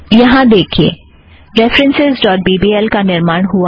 यहाँ देखिए references dot B B L का निर्माण हुआ है